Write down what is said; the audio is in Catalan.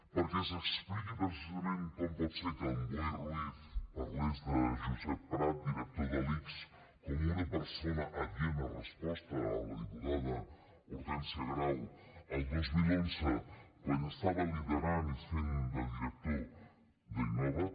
perquè s’expliqui precisament com pot ser que en boi ruiz parlés de josep prat director de l’ics com una persona adient a resposta a la diputada hortènsia grau el dos mil onze quan estava liderant i fent de director d’innova